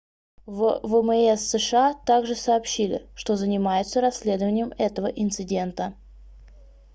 в вмс сша также сообщили что занимаются расследованием этого инцидента